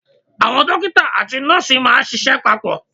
Àwọn Dókítà àti nọ́ọ̀sì máà ń ṣiṣẹ́ papọ̀.